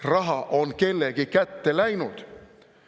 Raha on kellegi kätte läinud.